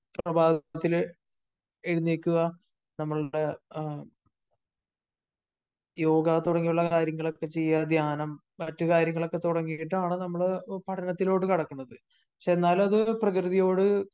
പ്രഭാതത്തില് എഴുന്നേൽക്കുക നമ്മളുടെ യോഗ തുടങ്ങിയുള്ള കാര്യങ്ങളൊക്കെ ചെയ്യുക. ധ്യാനം മറ്റ് കാര്യങ്ങളൊക്കെ തുടങ്ങിയിട്ടാണ് നമ്മള് പഠനത്തിലോട്ട് കടക്കുന്നത്. പക്ഷേ എന്നാലും അത് പ്രകൃതിയോട്